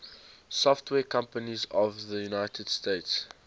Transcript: software companies of the united states